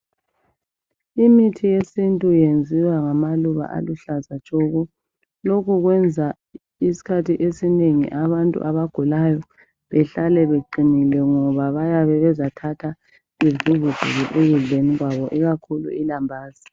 Imithi yesintu yenziwa ngamaluba aluhlaza tshoko. Lokhu kwenza isikhathi esinengi abantu abagulayo behlale beqinile ngoba bayabe bezathatha bevuvuzele ekudleni kwabo ikakhulu ilambazi.